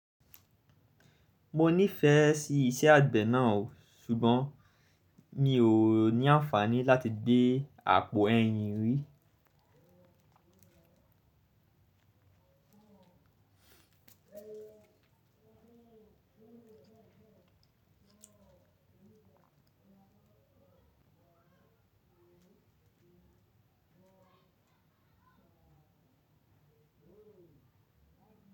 Mo nífẹ̀ẹ́ sí iṣẹ́ àgbẹ̀ náà o, ṣùgbọ́n mi ò ní àǹfààní láti gbé àpò ẹyin rí.